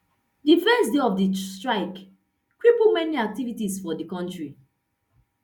di first day of di strike cripple many activities for di kontri